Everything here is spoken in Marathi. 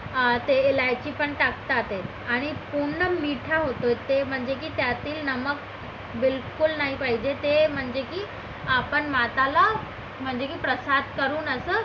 ते इलायची पण टाकतात आणि पूर्ण मीठा होतो ते म्हणजे की त्यातील नमक बिलकुल नाही पाहिजे ते म्हणजे की आपण माताला म्हणजे की प्रसाद करून